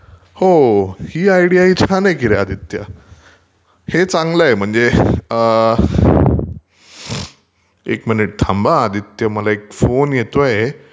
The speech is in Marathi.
हो ही आयडीया ही छान आहे की रे आदित्य. हे चांगल आहे म्हणजे अं......एक मिनिट थांब हा आदित्य मला एक फोन येतोय.